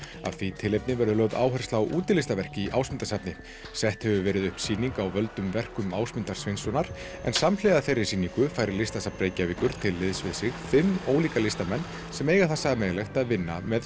af því tilefni verður lögð áhersla á útilistaverk í Ásmundarsafni á sett hefur verið upp sýning á völdum verkum Ásmundar Sveinssonar en samhliða þeirri sýningu fær Listasafn Reykjavíkur til liðs við sig fimm ólíka listamenn sem eiga það sameiginlegt að vinna með